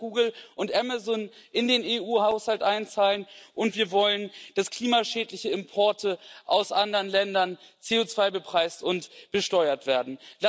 Wir wollen, dass Google und Amazon in den EU Haushalt einzahlen, und wir wollen, dass klimaschädliche Importe aus anderen Ländern CO2 bepreist und besteuert werden.